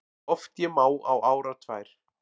Oft ég má á árar tvær